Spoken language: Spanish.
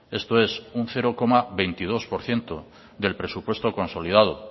esto es un cero coma veintidós por ciento del presupuesto consolidado